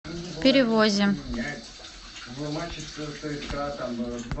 перевозе